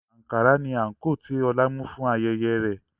Ankara ni àǹkóò tí Ọlá mú fún ayẹyẹ rẹ̀